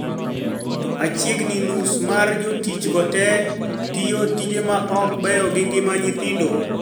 Machiegni nus mar jotich go te, tiyo tije ma ok beyo gi ngima nyithindo